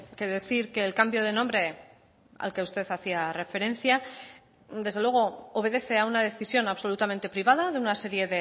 que decir que el cambio de nombre al que usted hacía referencia desde luego obedece a una decisión absolutamente privada de una serie